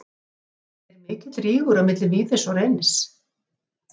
Er mikill rígur á milli Víðis og Reynis?